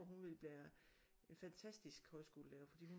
Hun ville være en faktastisk højskolelærer fordi hun